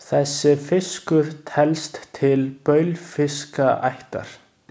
Þessi fiskur telst til baulfiskaættar.